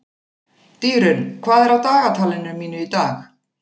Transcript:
Dýrunn, hvað er á dagatalinu mínu í dag?